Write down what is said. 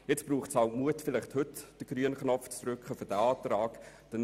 Nun braucht es halt Mut, heute vielleicht den grünen Knopf für diesen Antrag zu drücken.